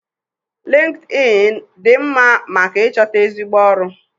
Lịnkịdịịnị dị mma maka ịchọta ezigbo ọrụ.